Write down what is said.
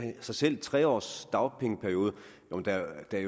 sig selv en tre årig dagpengeperiode